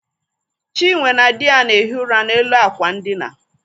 Chinwe na dị ya na-ehi ụra n'elu àkwà ndina.